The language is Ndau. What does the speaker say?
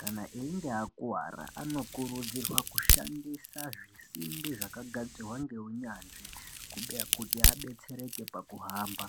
kana einge akuwara anokurudzirwa kushandisa zvisimbi zvaka gadzirwa nge unyanzvi kuti abetsereke paku hamba.